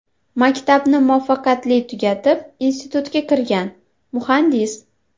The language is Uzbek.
Maktabni muvaffaqiyatli tugatib, institutga kirgan, muhandis.